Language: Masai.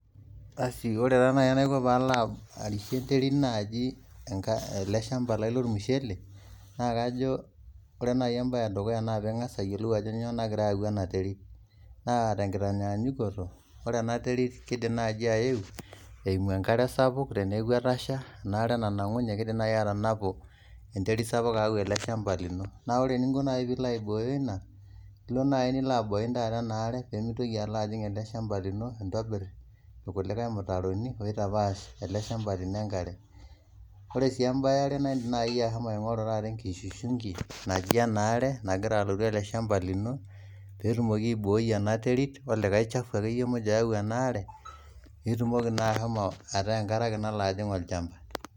Ore enaiko pee arishie enterit olchamba lai lormushele, naa pee ing'as ayiolou ajo kanyio nagira ayau ena terit. Naa tenkitanyanyukoto, ore ena terit kiidim naaji ayeu eimu enkare sapuk teneeku etasha, ina are nanang'unye keidim nai atanapu enterit sapuk aau ele shamba lino. Naa ore eninko pee ilo aibooyo ina, ilo abain ena are pee meitoki alo ajing' ele shamba lino, nintobirr irkulikae mutaroni, ooitapaash ele shamba lino enkare. Ero eniare, aidim ashomo aing'oru enkishunki najji ena are nagira alotu ele shamba lino, pee etumoki aibooi ena terit olikae chafu muj oyau ena are, pee eeku enkare ake nalo ajing' atua olchamba